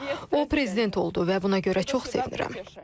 O prezident oldu və buna görə çox sevinirəm.